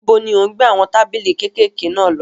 Níbo ni ò ń gbé àwọn tábìlì kékèké náà lọ?